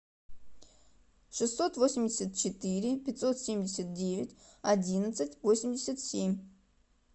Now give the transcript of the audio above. шестьсот восемьдесят четыре пятьсот семьдесят девять одиннадцать восемьдесят семь